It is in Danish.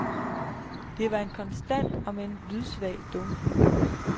Det var en konstant om end lydsvag dunken.